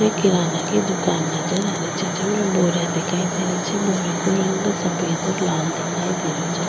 ये किराना की दुकान नजर आ री छे जेमे बोरिया दिखाई दे री छे बोरिया के रंग सफेद और लाल दिखाई दे रो छे।